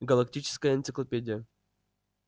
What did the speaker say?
галактическая энциклопедия